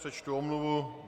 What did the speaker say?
Přečtu omluvu.